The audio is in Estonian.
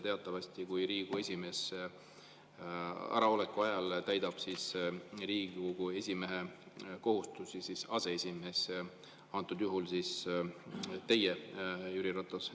Teatavasti Riigikogu esimehe äraoleku ajal täidab Riigikogu esimehe kohustusi aseesimees, antud juhul siis teie, Jüri Ratas.